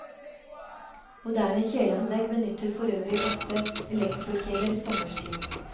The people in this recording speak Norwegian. Moderne kjeleanlegg benytter forøvrig ofte elektrokjeler sommerstid.